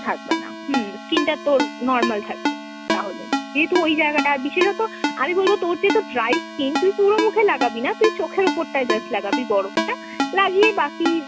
থাকবে না হম। skin টা তোর normal থাকবে তাহলে। যেহেতু ওই জায়গাটা, আর বিশেষতঃ আমি বলবো তোর যেহেতু dry skin তুই পুরো মুখে লাগাবিনা, তুই চোখের ওপরটায় just লাগাবি বরফটা। লাগিয়ে বাকি